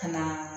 Ka na